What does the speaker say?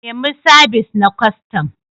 Nemi sabis na kwastam.